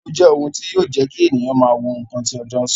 Ago jẹ́ ohun tí yọ jẹ́ kí ènìyàn máa wo ǹkan tí ọjọ́ sọ